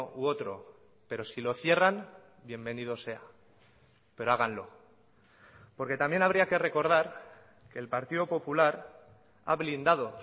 u otro pero si lo cierran bienvenido sea pero háganlo porque también habría que recordar que el partido popular ha blindado